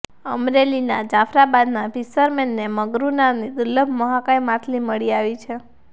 અમરેલીના જાફરાબાદના ફિશરમેનને મગરુ નામની દુર્લભ મહાકાય માછલી મળી આવી છે